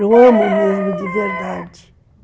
Eu amo mesmo de verdade.